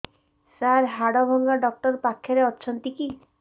ସାର ହାଡଭଙ୍ଗା ଡକ୍ଟର ପାଖରେ ଅଛନ୍ତି କି